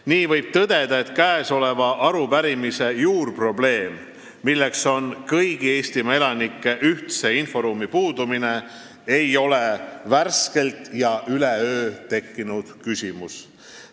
Nii võib tõdeda, et kõnealuse arupärimise juurprobleem, milleks on kõigi Eestimaa elanike ühtse inforuumi puudumine, ei ole värskelt ega üleöö tekkinud küsimus.